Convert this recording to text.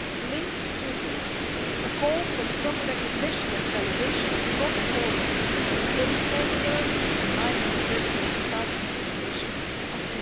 linked to this, a call for the proper recognition and validation of non formal and informal learning in line with the dedicated Council recommendation